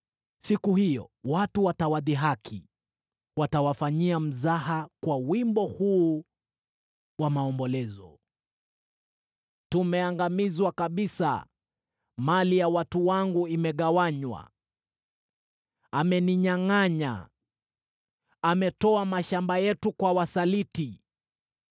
Siku hiyo watu watawadhihaki, watawafanyia mzaha kwa wimbo huu wa maombolezo: ‘Tumeangamizwa kabisa; mali ya watu wangu imegawanywa. Ameninyangʼanya! Ametoa mashamba yetu kwa wasaliti.’ ”